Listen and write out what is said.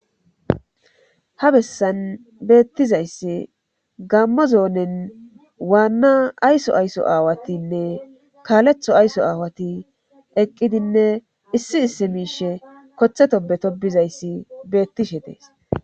ha bessan beettizayssi gammo zoonen waanna ayso ayso aawatinne kaaletho ayso aawati eqqidinne issi isse miishe kothetobeto bizayssi beettishe dees